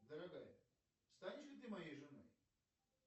дорогая станешь ли ты моей женой